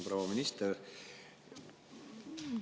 Proua minister!